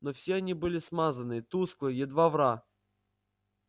но все они были смазанные тусклые едва вра